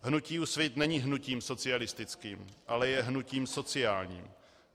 Hnutí Úsvit není hnutím socialistickým, ale je hnutím sociálním.